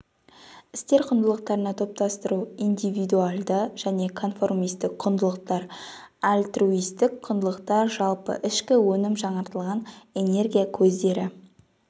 істер құндылықтарына топтастыру индивидуалды және конформистік құндылықтар альтруистік құндылықтар жалпы ішкі өнім жаңартылатын энергия көздері